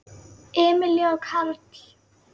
Emilía og Karl.